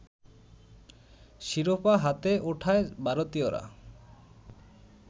শিরোপা হাতে ওঠায় ভারতীয়রা